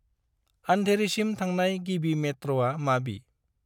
आन्धेरिसिम थांनाय गिबि मेट्र'आ माबि?